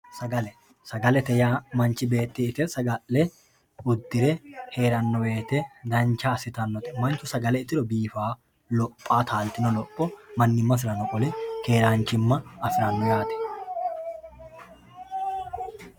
sagale sagalete yaa manchi beeti ite, saga'le, uddire heerano woyiite dancha assitannote mannu sagale itiro bifaao lophaao taaltino lopho mannimasirano qole keeranchimma afiranno yaate